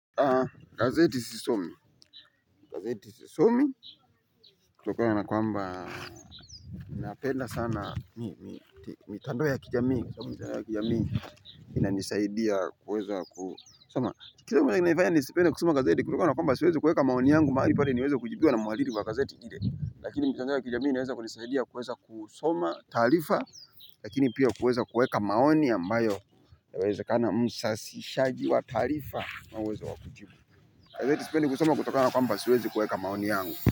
Gazeti sisomi. Gazeti sisomi kutokana na kwamba napenda sana. Mitando ya kijamii inanisaidia kuweza kusoma. Gazeti kutokana na kwamba siwezi kuweka maoni yangu mahali pale niweze kujibiwa na mhariri wa gazeti ile. Lakini mitandao ya kijamii inaweza kunisaidia kuweza kusoma taarifa lakini pia kuweza kuweka maoni ambayo yawezekana msasishaji wa taarifa ana uwezo wa kujibu. Gazeti sipendi kusoma kutokana na kwamba siwezi kuweka maoni yangu.